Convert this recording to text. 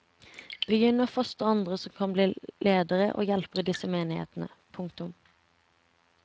Begynn å fostre andre som kan bli ledere og hjelpere i disse menighetene. punktum